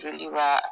Joliba